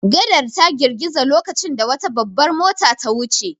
Gadar ta girgiza lokacin da wata babbar mota ta wuce.